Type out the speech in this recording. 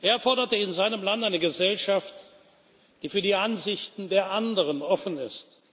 Er forderte in seinem Land eine Gesellschaft, die für die Ansichten der anderen offen ist.